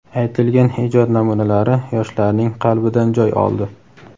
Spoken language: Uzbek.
aytilgan ijod namunalari yoshlarning qalbidan joy oldi.